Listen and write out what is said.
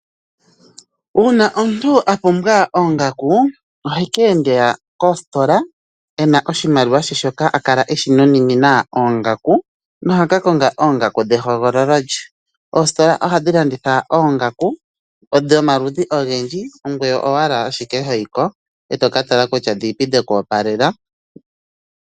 Una omuntu apumbwa oongaku, oha keenda koostola ena oshimaliwa she shoka a kala eshi nununina oongaku nohaka konga oongaku dhehogololo lye. Oostola ohadhi landitha oongaku dhomaludhi ogendji ongoye owala ashike ho yiko, e toka tala kusha odhini po dheku opalela